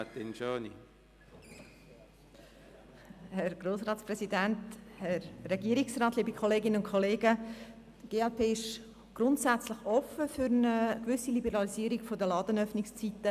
Die glp ist grundsätzlich offen für eine gewisse Liberalisierung der Ladenöffnungszeiten.